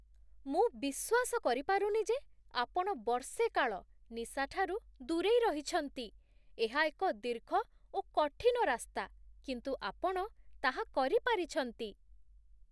ମୁଁ ବିଶ୍ୱାସ କରିପାରୁନି ଯେ ଆପଣ ବର୍ଷେ କାଳ ନିଶାଠାରୁ ଦୂରେଇ ରହିଛନ୍ତି! ଏହା ଏକ ଦୀର୍ଘ ଓ କଠିନ ରାସ୍ତା, କିନ୍ତୁ ଆପଣ ତାହା କରିପାରିଛନ୍ତି!